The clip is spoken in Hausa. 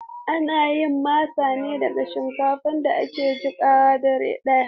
Ana yin masa ne daga shinkafa da aka jiƙa dare ɗaya.